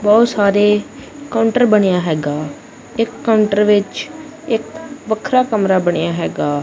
ਬਹੁਤ ਸਾਰੇ ਕਾਉੰਟਰ ਬਣਿਆ ਹੈਗਾ ਇੱਕ ਕਾਉੰਟਰ ਵਿੱਚ ਇੱਕ ਵੱਖਰਾ ਕਮਰਾ ਬਣਿਆ ਹੈਗਾ।